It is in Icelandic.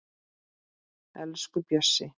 Elsku Bjössi